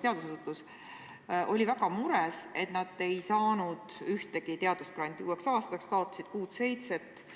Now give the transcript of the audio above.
teadusasutus, oli väga mures, et nad ei saanud ühtegi teadusgranti uueks aastaks, taotlesid aga kuut-seitset.